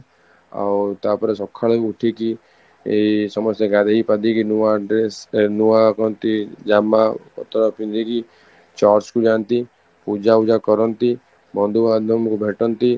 ଆଉ ତାପରେ ସକାଳୁ ଉଠିକି ଏଇ ସମସ୍ତେ ଗାଧୋଇ ପାଧେଇ କି ନୂଆ ଡ୍ରେସ ଏ ନୂଆ କୁହନ୍ତି ଜାମା ଉତରା ପିନ୍ଧିକି church କୁ ଯାଆନ୍ତି ପୂଜା କରନ୍ତି ,ବନ୍ଧୁ ବାନ୍ଧବଙ୍କୁ ଭେଟନ୍ତି